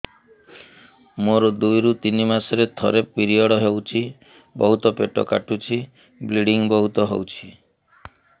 ମୋର ଦୁଇରୁ ତିନି ମାସରେ ଥରେ ପିରିଅଡ଼ ହଉଛି ବହୁତ ପେଟ କାଟୁଛି ବ୍ଲିଡ଼ିଙ୍ଗ ବହୁତ ହଉଛି